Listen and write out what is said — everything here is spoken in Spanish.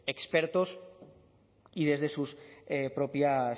expertos y desde sus propias